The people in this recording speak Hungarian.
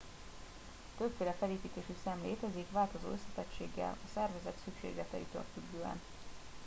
többféle felépítésű szem létezik változó összetettséggel a szervezet szükségleteitől függően